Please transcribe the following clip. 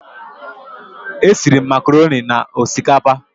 Esiri m makaroni na osikapa